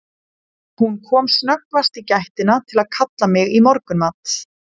Hún kom snöggvast í gættina til að kalla mig í morgunmat.